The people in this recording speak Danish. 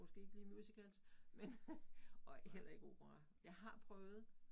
Måske ikke lige musicals men og heller ikke opera. Jeg har prøvet